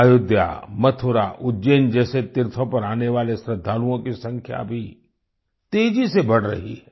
अयोध्या मथुरा उज्जैन जैसे तीर्थों पर आने वाले श्रद्दालुओं की संख्या भी तेजी से बढ़ रही है